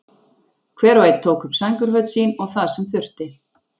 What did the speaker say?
Hver og einn tók upp sængurföt sín og það sem þurfti.